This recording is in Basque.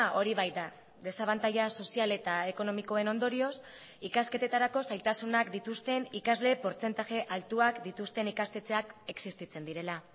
hori baita desabantaila sozial eta ekonomikoen ondorioz ikasketetarako zailtasunak dituzten ikasle portzentaje altuak dituzten ikastetxeak existitzen direla